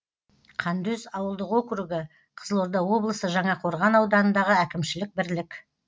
қандөз ауылдық округі қызылорда облысы жаңақорған ауданындағы әкімшілік бірлік